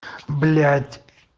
блять